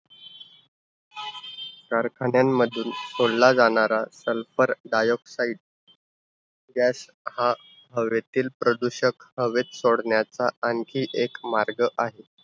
कारखान्यांमधून सोडला जाणारा sulphur dioxide gas हा हवेतील प्रदूषक, हवेत सोडण्याचा आणखी एक मार्ग आहे.